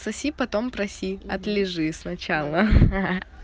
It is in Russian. соси потом проси отлижи сначала